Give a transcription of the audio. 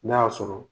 N'a y'a sɔrɔ